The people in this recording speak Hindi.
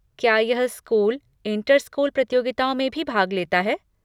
क्या यह स्कूल, इंटर स्कूल प्रतियोगिताओं में भी भाग लेता है?